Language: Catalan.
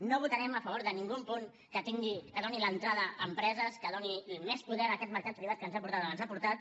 no votarem a favor de cap punt que doni l’entrada a empreses que doni més poder a aquest mercat privat que ens ha portat on ens ha portat